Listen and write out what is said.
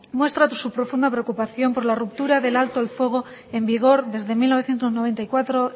muestra su profunda preocupación por la ruptura del alto al fuego en vigor desde mil novecientos noventa y cuatro